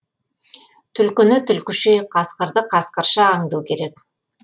түлкіні түлкіше қасқырды қасқырша аңду керек